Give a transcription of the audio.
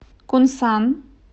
кунсан